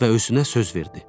Və özünə söz verdi: